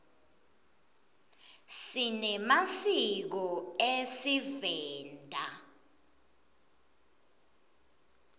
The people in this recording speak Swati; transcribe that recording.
sinemasiko esivenda